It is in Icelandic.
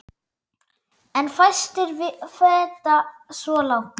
En fæstir feta svo langt.